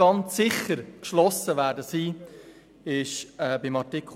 Ganz sicher geschlossen stimmen werden wir jedoch bei Artikel 15.